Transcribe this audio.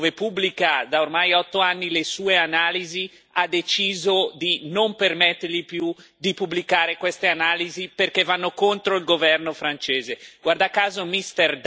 Infatti, la piattaforma dove pubblica da ormai otto anni le sue analisi, ha deciso di non permettergli più di pubblicare queste analisi perché vanno contro il governo francese.